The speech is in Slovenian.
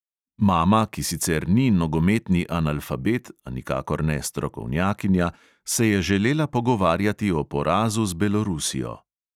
Mama, ki sicer ni nogometni analfabet, a nikakor ne strokovnjakinja, se je želela pogovarjati o porazu z belorusijo.